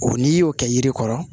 O n'i y'o kɛ yiri kɔrɔ